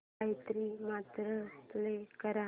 Gayatri Mantra play कर